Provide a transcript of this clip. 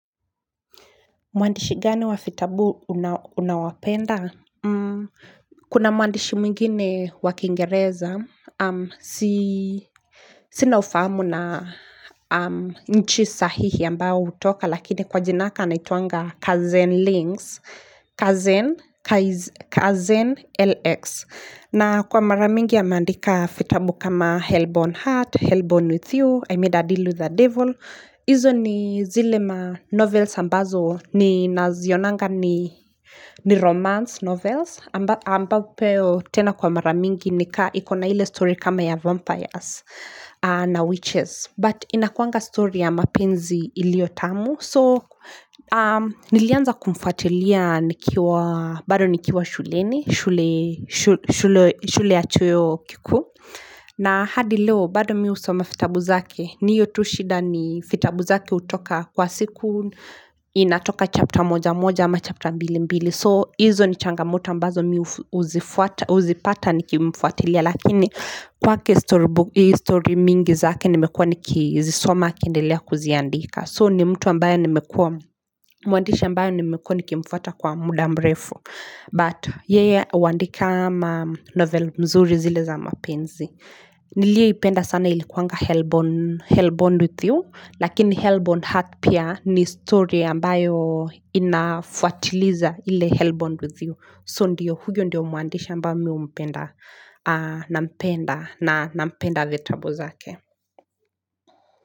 Mwandishi gani wa vitabu unawapenda? Kuna mwandishi mwingine wa kingereza. Sina ufamu na nchi sahihi ambao hutoka lakini kwa jinaka anaitwanga Kazen LX. Na kwa mara mingi ameandika vitabu kama Hell born Heart, Hell born With You, I made a deal with the Devil. Izo ni zile ma novels ambazo ni nazionanga ni ni romance novels. Ambapo tena kwa mara mingi ni kaa ikona ile story kama ya vampires na witches. But inakuanga story ya mapenzi iliotamu. So nilianza kumfatilia bado nikiwa shuleni, shule ya chuo kikuu. Na hadi leo, bado mi husoma vitabu zake, ni hiyo tu shida ni vitabu zake hutoka kwa siku, inatoka chapter moja moja ama chapter mbili mbili. So hizo ni changamoto ambazo mi huzipata nikimfuatilia, lakini kwake story mingi zake nimekua nikizisoma akiendelea kuziandika. So ni mtu ambaye nimekua, muandisha ambayo nimekua nikimfuata kwa muda mrefu. But yeye huandika novel mzuri zile za mapenzi. Niliyeipenda sana ilikuanga hellbound with you. Lakini hellbound heart pia ni story ambayo inafuatiliza ili hellbound with you. So ndiyo huyo ndiyo muandishi ambayo mi humpenda nampenda vitabu zake.